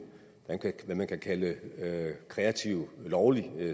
hvad man kan kalde kreativ lovlig